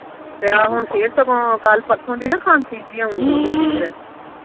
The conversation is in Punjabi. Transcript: ਤੇ ਆ ਹੁਣ ਫੇਰ ਸਗੋਂ ਕੱਲ ਪਰਸੋ ਦੀ ਨਾ ਖਾਂਸੀ ਜਿਹੀ ਆਉਣ ਡਈਆ ਫੇਰ